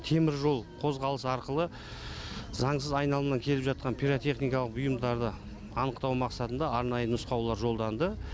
теміржол қозғалысы арқылы заңсыз айналымнан келіп жатқан пиротехникалық бұйымдарды анықтау мақсатында арнайы нұсқаулар жолданды